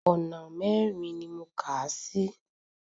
Ọ̀nà mẹ́rin ni mo kàá sí.